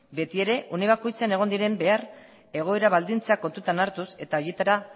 betiere une bakoitzean egon diren behar egoera baldintzak kontutan hartuz eta horietara